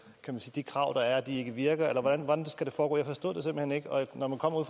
de krav der er ikke virker eller hvordan skal det foregå jeg forstod hen ikke og når man kommer